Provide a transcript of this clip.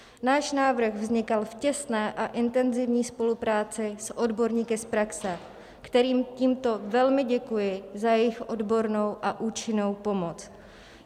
Náš návrh vznikal v těsné a intenzivní spolupráci s odborníky z praxe, kterým tímto velmi děkuji za jejich odbornou a účinnou pomoc.